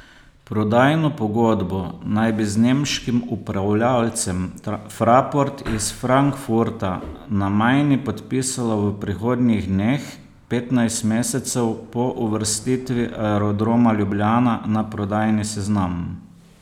Prodajno pogodbo naj bi z nemškim upravljavcem Fraport iz Frankfurta na Majni podpisala v prihodnjih dneh, petnajst mesecev po uvrstitvi Aerodroma Ljubljana na prodajni seznam.